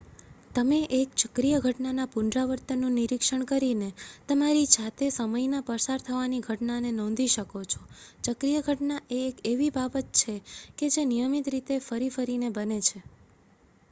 તમે એક ચક્રીય ઘટનાના પુનરાવર્તનનું નિરીક્ષણ કરીને તમારી જાતે સમયના પસાર થવાની ઘટનાને નોંધી શકો છો ચક્રીય ઘટના એ એક એવી બાબત છે કે જે નિયમિત રીતે ફરી ફરીને બને છે